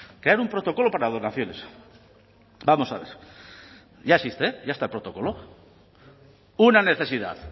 crear un protocolo para donaciones vamos a ver ya existe ya está el protocolo una necesidad